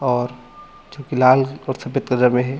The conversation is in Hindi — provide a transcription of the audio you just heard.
और जो कि लाल और सफेद कलर में है।